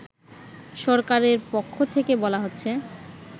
সরকারেরপক্ষ থেকে বলা হচ্ছে